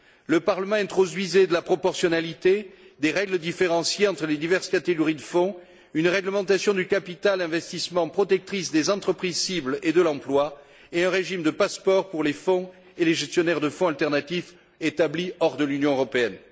Le Parlement introduisait de la proportionnalité, des règles différenciées entre les diverses catégories de fonds, une réglementation du capital investissement protectrice des entreprises cibles et de l'emploi et un régime de passeport pour les fonds et les gestionnaires de fonds alternatifs établis hors de l'Union européenne.